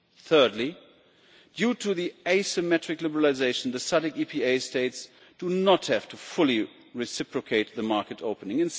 Thirdly, due to the asymmetric liberalisation, the SADC EPA States do not have to fully reciprocate the market opening.